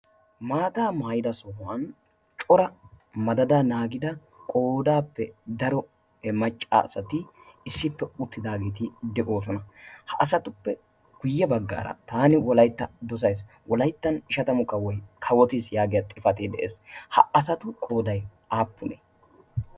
maataa maayida sohuwan cora madada naagida qoodaappe daro e macca asati issippe uttidaageeti de'oosona ha asatuppe kuyye baggaara taani wolaytta dosays wolayttan ishatamu kawoy kawotiis yaagiya xifati de'ees ha asatu qooday aappunee